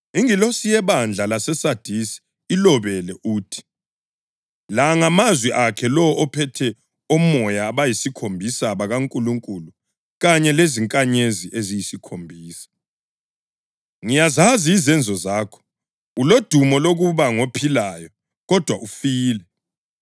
“Ingilosi yebandla laseSadisi ilobele uthi: La ngamazwi akhe lowo ophethe omoya abayisikhombisa bakaNkulunkulu kanye lezinkanyezi eziyisikhombisa. Ngiyazazi izenzo zakho; ulodumo lokuba ngophilayo, kodwa ufile.